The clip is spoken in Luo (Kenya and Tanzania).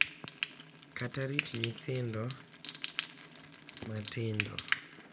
Kata rito nyithindo matindo.